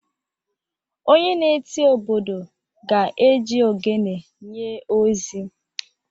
onye na-eti obodo ga-eji ogene nye ozi